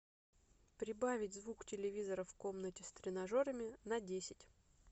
прибавить звук телевизора в комнате с тренажерами на десять